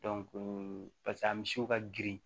paseke a misiw ka girin